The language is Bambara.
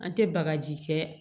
An tɛ bagaji kɛ